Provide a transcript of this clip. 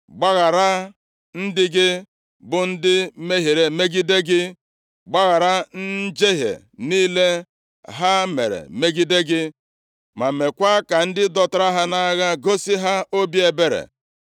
Gbaghara ndị gị, bụ ndị mehiere megide gị, gbaghara njehie niile ha mere megide gị, ma meekwa ka ndị dọtara ha nʼagha gosi ha obi ebere.